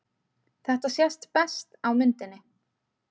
Þetta sést best á myndinni.